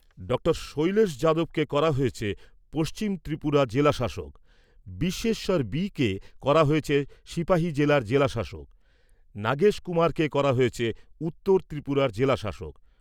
Doctor Shailesh যাদবকে করা হয়েছে পশ্চিম ত্রিপুরা জেলা শাসক, বিশ্বেশ্বর বি কে করা হয়েছে সিপাহি জেলার জেলাশাসক। নাগেশ কুমারকে করা হয়েছে উত্তর ত্রিপুরার জেলাশাসক।